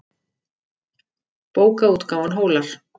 Bókaútgáfan Hólar.